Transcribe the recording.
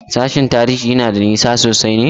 Sashen Tarihi yana da nisa sosai ne?